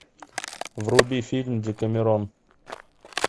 вруби фильм декамерон